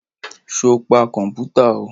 Sọ pa kọ̀mpútà o?